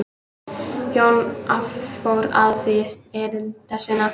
Jón fór afsíðis erinda sinna.